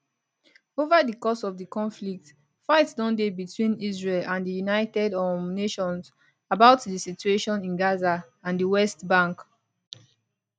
ova di course of di conflict fight don dey betwin israel and di united um nations about di situation in gaza and di west bank